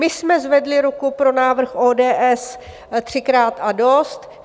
My jsme zvedli ruku pro návrh ODS třikrát a dost.